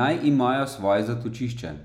naj imajo svoje zatočišče.